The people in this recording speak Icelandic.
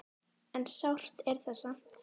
En sárt er það samt.